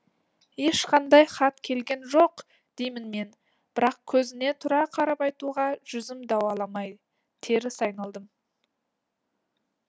ешқандай хат келген жоқ деймін мен бірақ көзіне тура қарап айтуға жүзім дауаламай теріс айналдым